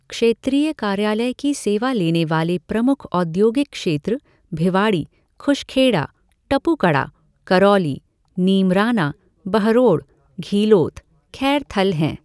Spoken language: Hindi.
क्षेत्रीय कार्यालय की सेवा लेने वाले प्रमुख औद्योगिक क्षेत्र भिवाड़ी, खुशखेड़ा, टपुकड़ा, करौली, नीमराना, बहरोड़, घीलोत, खैरथल हैं।